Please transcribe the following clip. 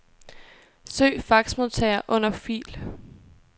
Søg faxmodtager under fil.